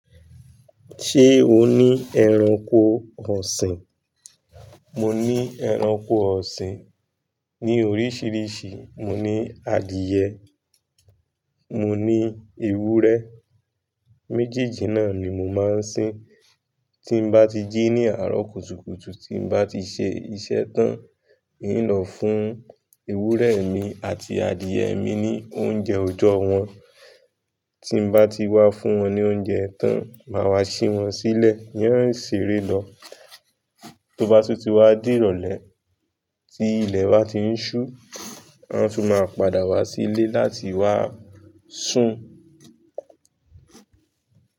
Ṣé o ní ẹranko ọ̀sìn? Mo ní ẹranko ọ̀sìn ní oríṣiríṣi, mo ní adìẹ, mo ní ewúrẹ́, méjejì náà ni mo máa ń sín. Tí n bá ti jí ní àárọ̀ kùtùkùtù, tí n bá ti ṣe iṣẹ́ tán, n ó lọ fún ewúrẹ́ mi àti adìẹ mi ní oúnjẹ òjọ́ wọn. Tí n bá ti wá fún wọn ní oúnjẹ tán, máa wá ṣí wọn sílẹ̀ ní wọ́n ó sì ré lọ. Tóbá sì ti wá dìrọ̀lẹ̀, tí ilẹ̀ bá ti ń ṣú, wọn sì máa padà wá sí ilé láti wá sùn.